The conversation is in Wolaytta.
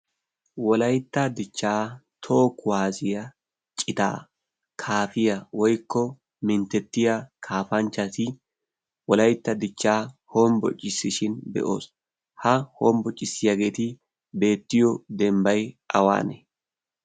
wolaytta dichchaa toho kuwaaziya citaa kaafiya woikko minttettiya kaafanchchati wolaitta dichchaa hombbocissishin be'oos ha hombbocissiyaageeti beettiyo dembbay awaanee?